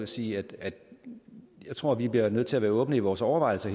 sige at jeg tror vi bliver nødt til at være åbne i vores overvejelser